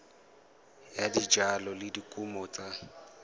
ya dijalo le dikumo tsa